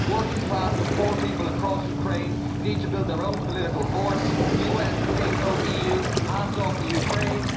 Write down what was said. Working class and poor people across Ukraine need to build their own political force. US, NATO, EU hands off Ukraine.